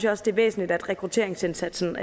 også det er væsentligt at rekrutteringsindsatsen